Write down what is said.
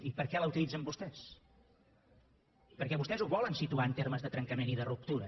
i per què l’utilitzen vostès perquè vostès ho volen situar en termes de trencament i de ruptura